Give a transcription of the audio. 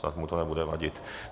Snad mu to nebude vadit.